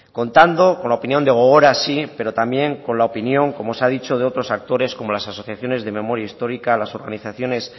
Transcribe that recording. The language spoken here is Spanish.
contando con la opinión de gogora sí pero también con la opinión como se ha dicho de otros actores como las asociaciones de memoria histórica las organizaciones